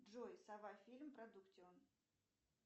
джой сова фильм продуктион